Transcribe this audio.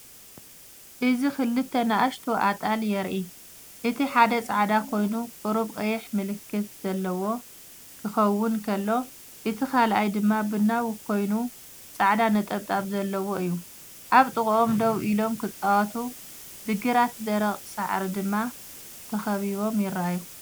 እዚ ክልተ ንኣሽቱ ኣጣል የርኢ። እቲ ሓደ ጻዕዳ ኮይኑ ቁሩብ ቀይሕ ምልክት ዘለዎ ክኸውን ከሎ፡ እቲ ካልኣይ ድማ ቡናዊ ኮይኑ ጻዕዳ ነጠብጣብ ዘለዎ እዩ። ኣብ ጥቓኦም ደው ኢሎም፡ ክጻወቱ፡ ብግራት ደረቕ ሳዕሪ ድማ ተኸቢቦም ይረኣዩ።